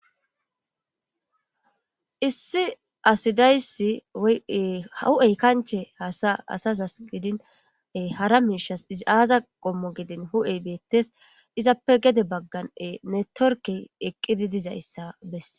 issi asidayssi hahu7ey kanche hasa asazasqidine hara miishas izi aaza qommo gidin hu7ey beettes izappe gede bagganee ne torki eqqidi dizayssa bess